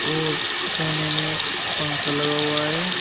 और कोने में एक पंखा लगा हुआ है।